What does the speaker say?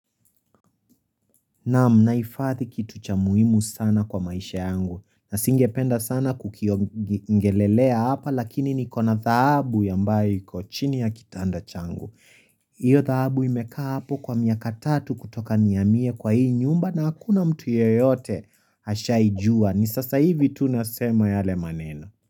Naam naifathi kitu cha muhimu sana kwa maisha yangu na singependa sana kukio ngelelea hapa lakini ni kona dhahabu ya ambayo iko chini ya kitanda changu. Iyo dhahabu imekaa hapo kwa miaka tatu kutoka nihamie kwa hii nyumba na hakuna mtu yeyote hashaijua. Ni sasa hivi tunasema yale maneno.